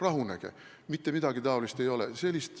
Rahunege, mitte midagi niisugust ei ole!